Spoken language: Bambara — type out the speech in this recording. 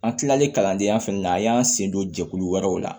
An kilalen kalandenya fɛnɛ na a y'an sen don jɛkulu wɛrɛw la